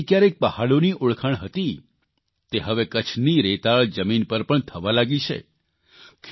જે સ્ટ્રોબેરી કયારેક પહાડોની ઓળખાણ હતી તે હવે કચ્છની રેતાળ જમીન પર પણ થવા લાગી છે